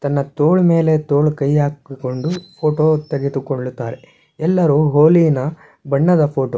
ತನ್ನ ತೋಳ ಮೇಲೆ ತೋಳ ಕೈ ಹಾಕೊಂಡು ಫೋಟೋ ತೆಗೆದುಕೊಳ್ಳುತ್ತಾರೆ ಎಲ್ಲಾರು ಹೋಲಿನ ಬಣ್ಣದ ಫೋಟೋ .